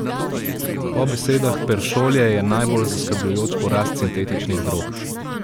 Po besedah Peršolje je najbolj zaskrbljujoč porast sintetičnih drog.